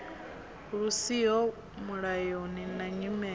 lu siho mulayoni na nyimele